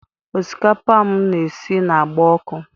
Osikapa m na-esi na-agba ọkụ.